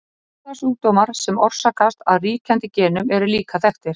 Erfðasjúkdómar sem orsakast af ríkjandi genum eru líka þekktir.